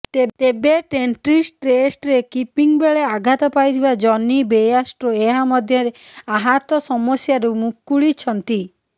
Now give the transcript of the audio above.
ତେବେ ଟ୍ରେଣ୍ଟ୍ବ୍ରିଜ୍ ଟେଷ୍ଟ୍ରେ କିପିଂ ବେଳେ ଆଘାତ ପାଇଥିବା ଜନି ବେୟାର୍ଷ୍ଟୋ ଏହା ମଧ୍ୟରେ ଆହତ ସମସ୍ୟାରୁ ମୁକୁଳିଛନ୍ତି